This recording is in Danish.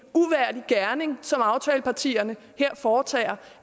gerning som aftalepartierne her foretager